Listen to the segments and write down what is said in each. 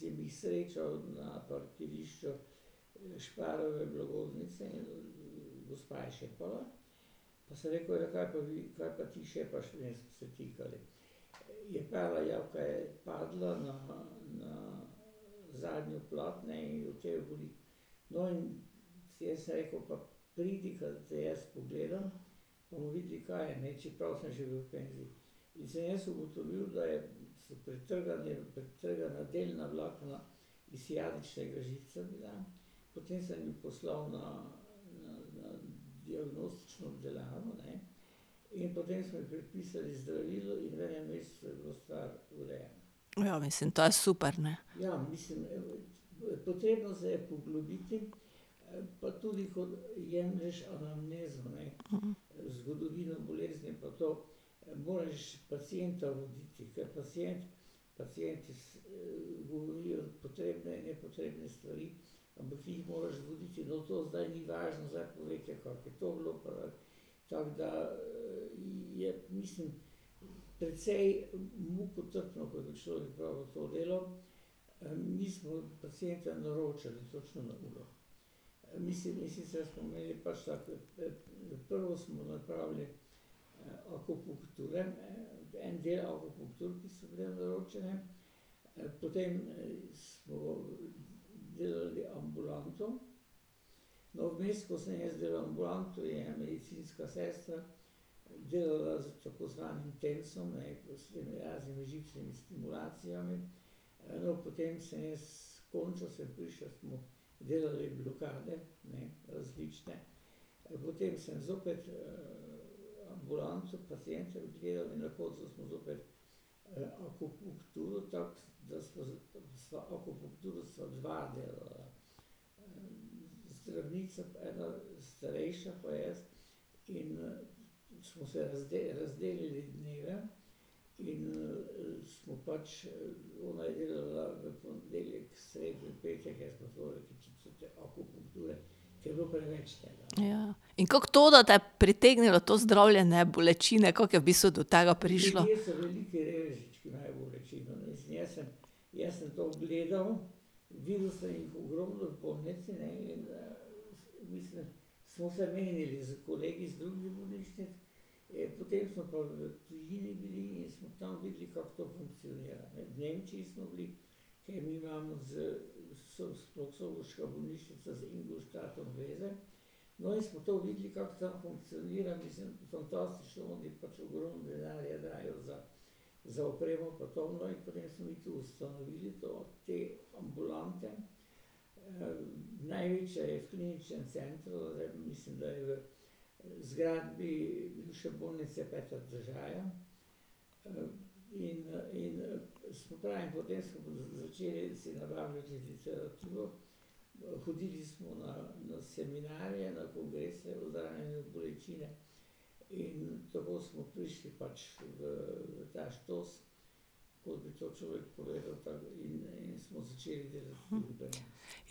ogromno. Ja, mislim, to je super, ne. Ja. In kako to, da te je pritegnilo to zdravljenje bolečine, kako je v bistvu do tega prišlo? Jaz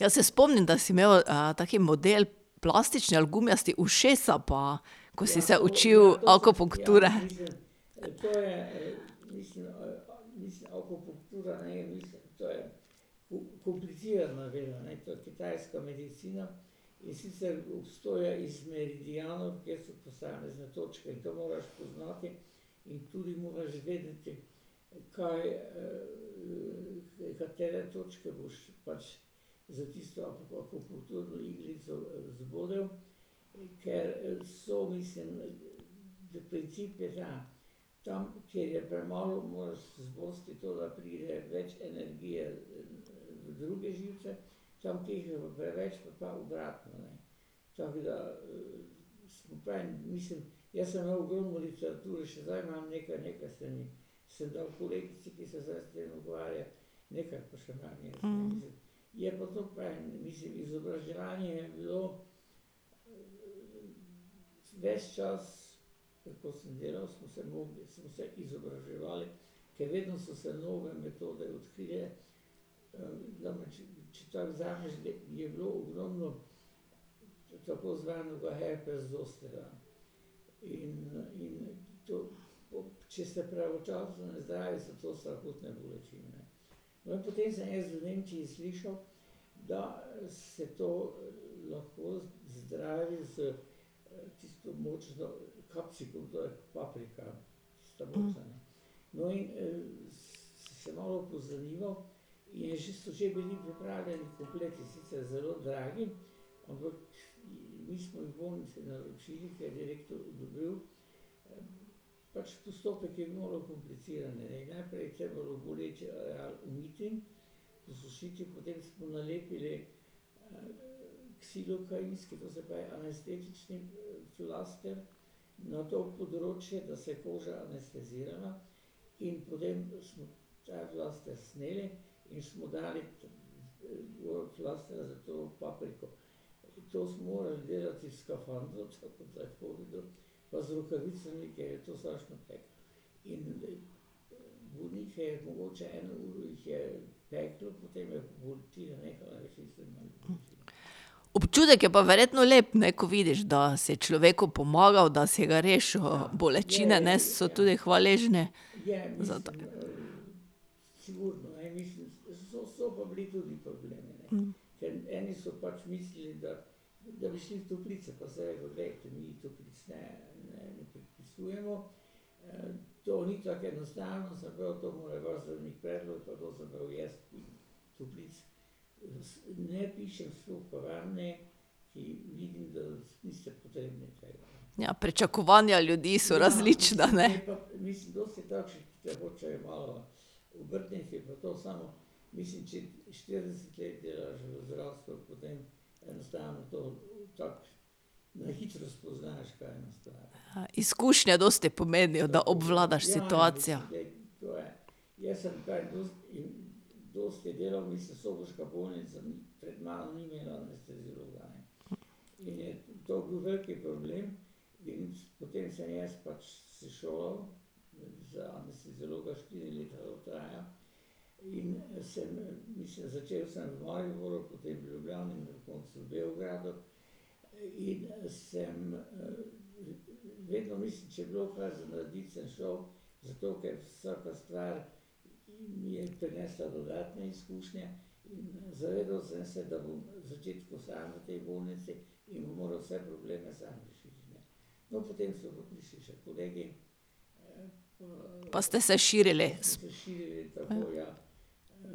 se spomnim, da si imel, tak model, plastični ali gumijasti, ušesa, pa ... Ko si se učil akupunkture. Občutek je pa verjetno lep, ne, ko vidiš, da si človeku pomagal, da si ga rešil bolečine, ne, so tudi hvaležni za to. Ja, pričakovanja ljudi so različna, ne. Izkušnje dosti pomenijo, da obvladaš situacijo. Pa ste se širili s ...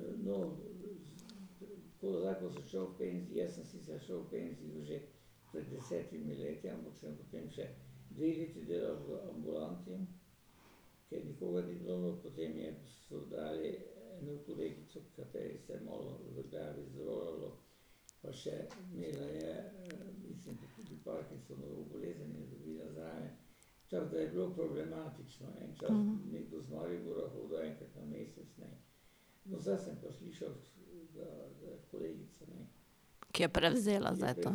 Ki je prevzela zdaj to.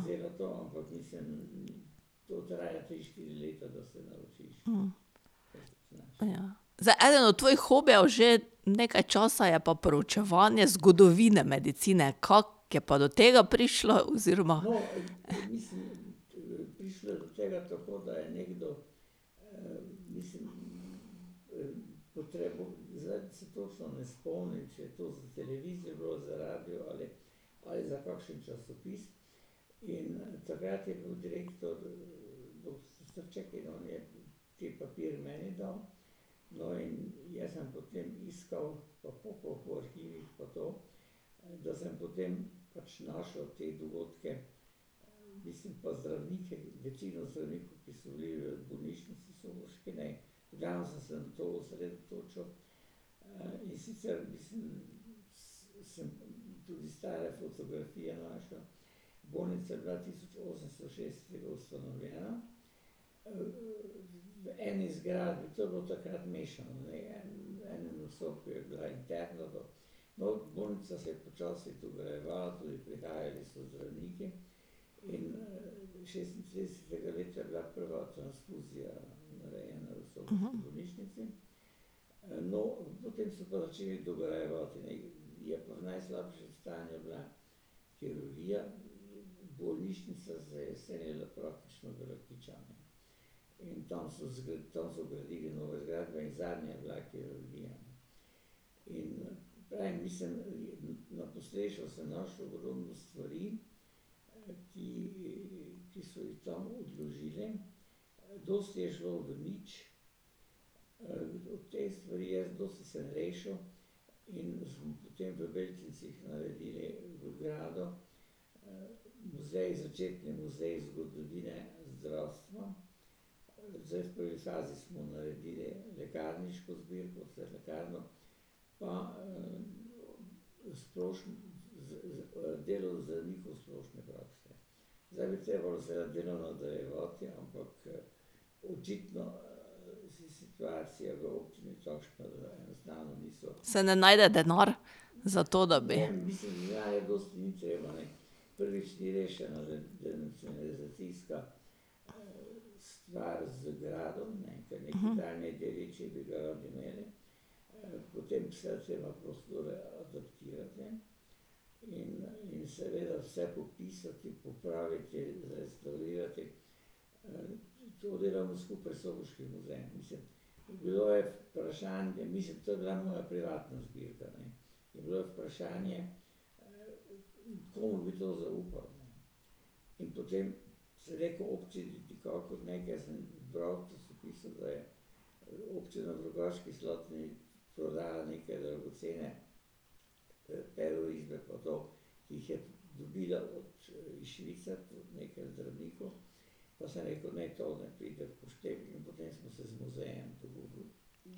Ja. Zdaj eden od tvojih hobijev že nekaj časa je pa proučevanje zgodovine medicine. Kako je pa do tega prišlo oziroma ... Se ne najde denar za to, da bi ...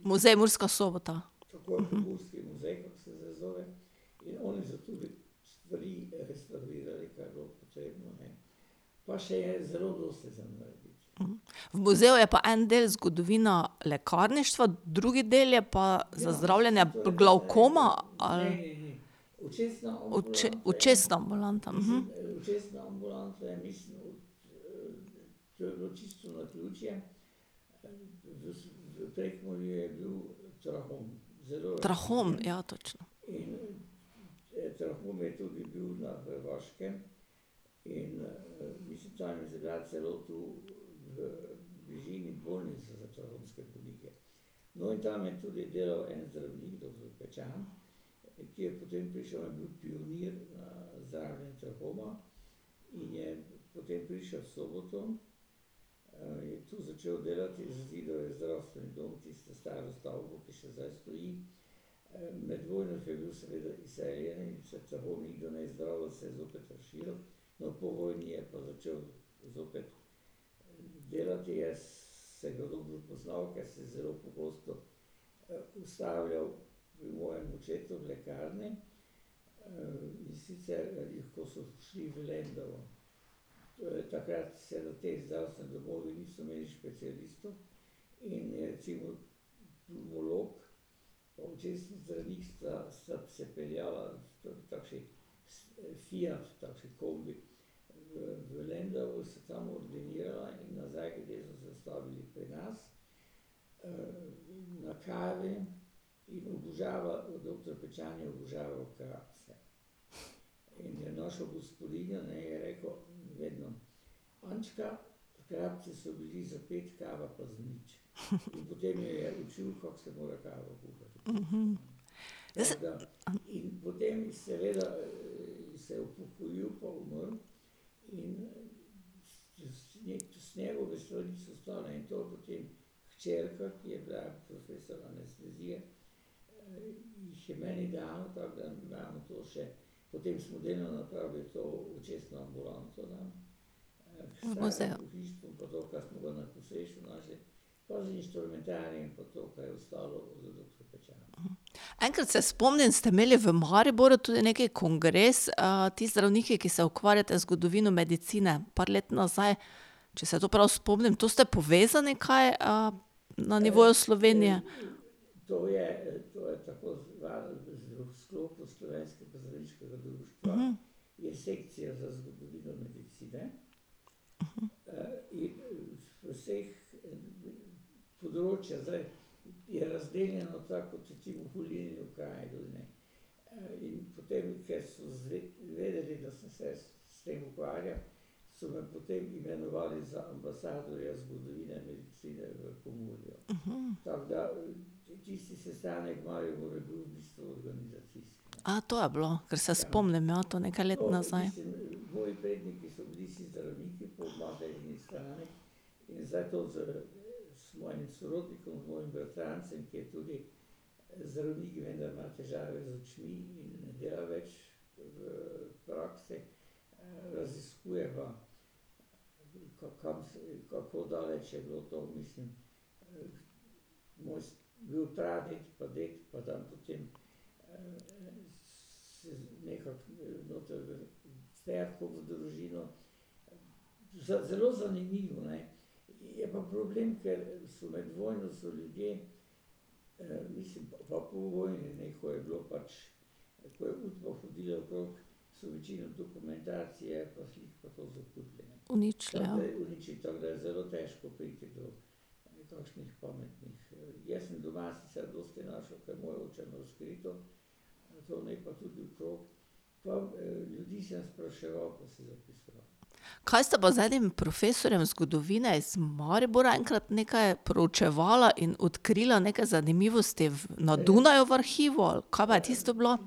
Muzej Murska Sobota. V muzeju je pa en del zgodovina lekarništva, drugi del je pa za zdravljenje glavkoma ali ... očesna ambulanta, Trahom, ja, točno. Muzeja. Enkrat se spomnim, ste imeli v Mariboru tudi nekaj kongres, ti zdravniki, ki se ukvarjate z zgodovino medicine. Par let nazaj, če se to prav spomnim. To ste povezani kaj, na nivoju Slovenije? to je bilo. Kar se spomnim, ja, to nekaj let nazaj. Uničile, ja. Kaj ste pa z enim profesorjem zgodovine iz Maribora enkrat nekaj proučevala in odkrila nekaj zanimivosti v ... na Dunaju v arhivu, ali, kaj pa je tisto bilo?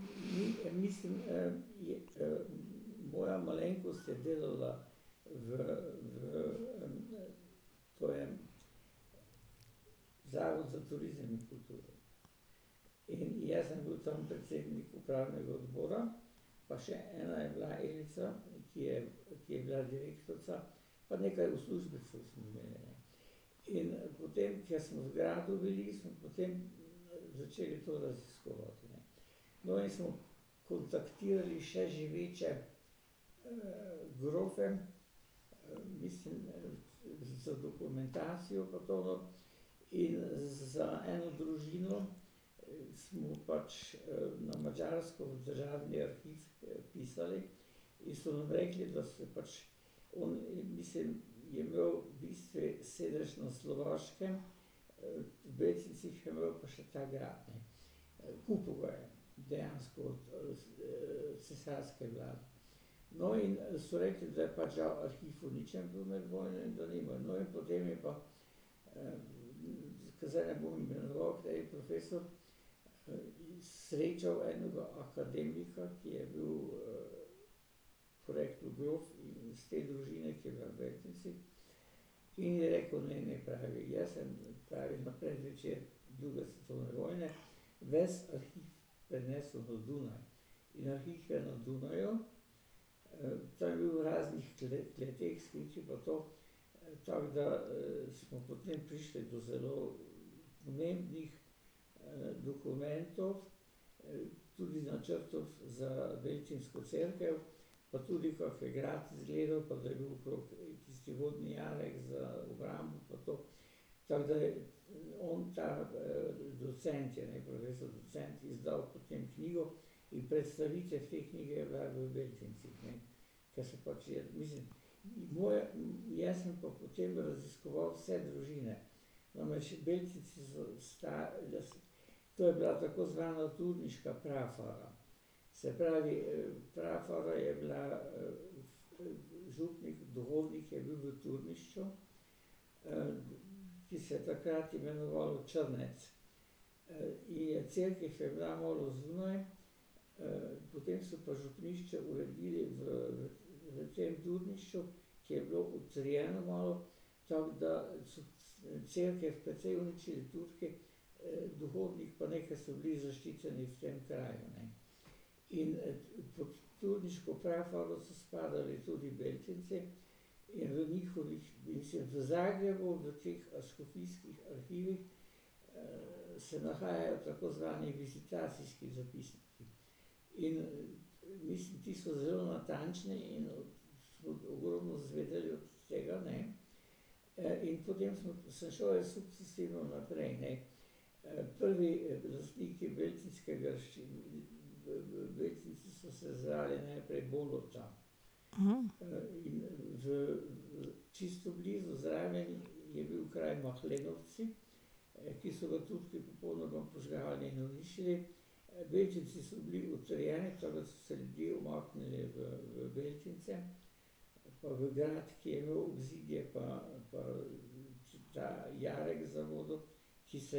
Saj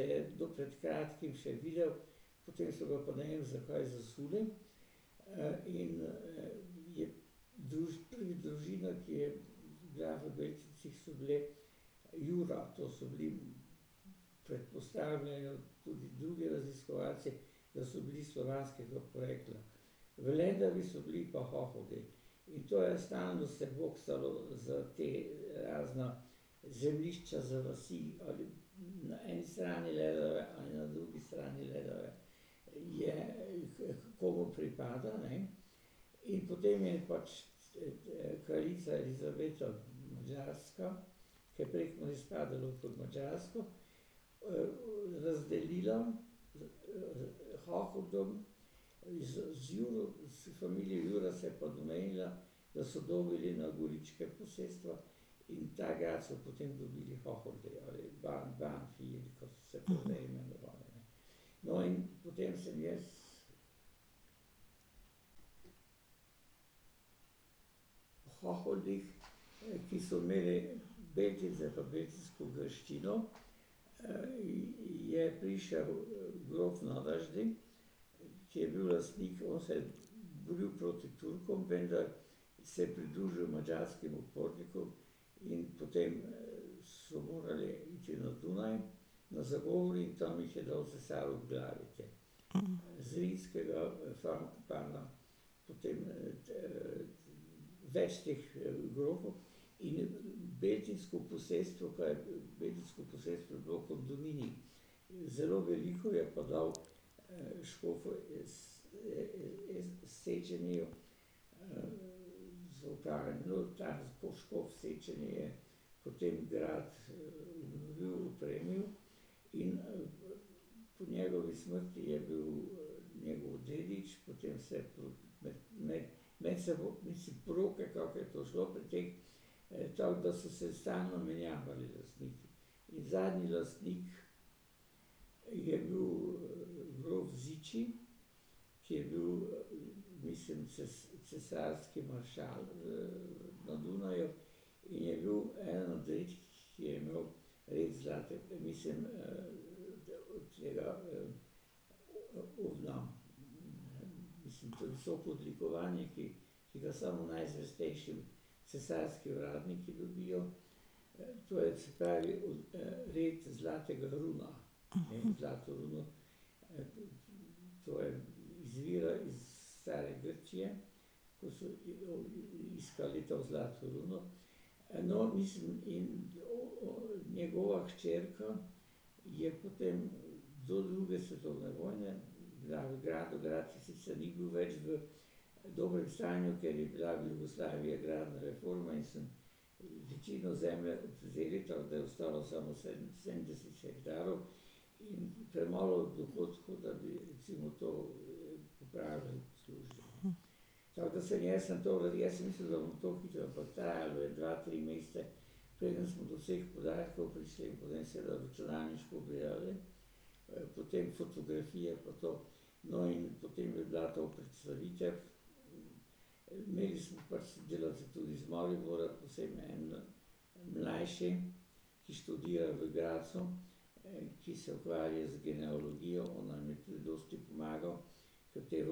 to je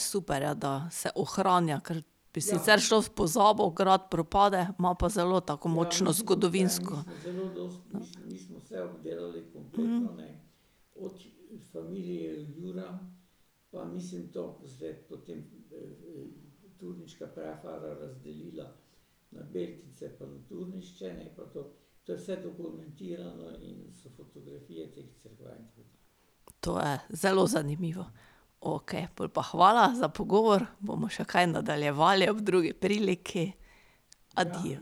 super, ja, da se ohranja, ker bi sicer šlo v pozabo, grad propade, ima pa zelo tako močno zgodovinsko ... To je zelo zanimivo. Okej, pol pa hvala za pogovor, bomo še kaj nadaljevali ob drugi priliki, adijo.